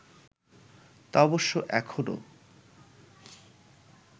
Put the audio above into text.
তা অবশ্য এখনও